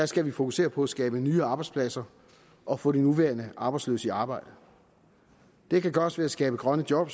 skal fokusere på at skabe nye arbejdspladser og få de nuværende arbejdsløse i arbejde det kan gøres ved at skabe grønne job